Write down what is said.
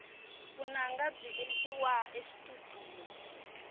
vunanga byi endliwa exitudiyo